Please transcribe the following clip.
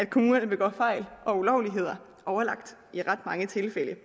kommunerne begår fejl eller ulovligheder i ret mange tilfælde